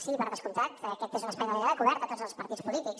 sí per descomptat aquest és un espai de diàleg obert a tots els partits polítics